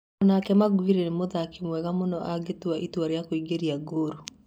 O-nake Maguere nĩ mũthaki mwega mũno angĩtua itua rĩa kũingĩria ngũru.